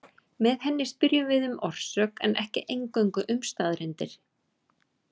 Með henni spyrjum við um orsök en ekki eingöngu um staðreyndir.